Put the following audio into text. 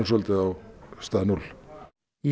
svolítið á stað núll í